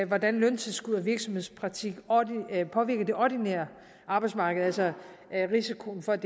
hvordan løntilskud og virksomhedspraktik påvirker det ordinære arbejdsmarked altså risikoen for at